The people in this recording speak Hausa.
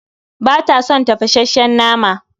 Bata son tafasasshen nama